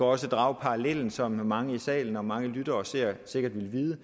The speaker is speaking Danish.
også drage parallellen som mange i salen og som mange lyttere og seere sikkert vil